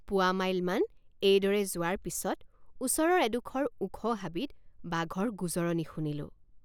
পোৱামাইলমান এইদৰে যোৱাৰ পিচত ওচৰৰ এডোখৰ ওখ হাবিত বাঘৰ গোজৰণি শুনিলোঁ।